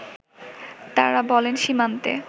তারা বলেন সীমান্তে